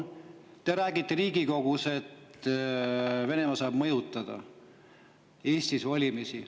Te räägite Riigikogus, et Venemaa saab mõjutada Eestis valimisi.